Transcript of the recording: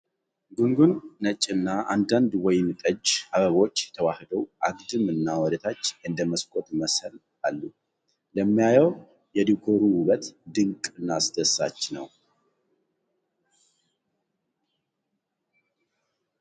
ጉንጉን ነጭና አንዳንድ ወይን ጠጅ አበቦች ተዋህደው አግድም እና ወደታች እንደ መስኮት መሰል አሉ ፤ ለሚያየው የዲኮሩ ውበት ድንቅ እና አስደሳች ነው ።